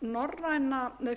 þetta